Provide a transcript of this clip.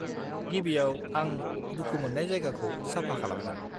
गिबियाव, आं दुखु मोननाय जायगाखौ साफा खालामगोन।